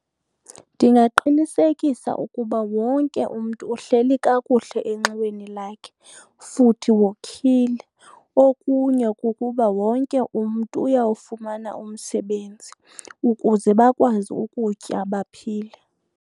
Ndingaqinisekisa ukuba wonke umntu uhleli kakuhle enxiweni lakhe futhi wokhile. Okunye kukuba wonke umntu uyawufumana umsebenzi ukuze bakwazi ukutya baphile.